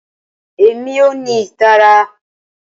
Rara, Emi ko ni itara.